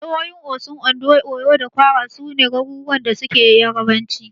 Jahohin Osun, Ondo, Oyo da Kwara, su ne garuruwan da suke Yarabanci.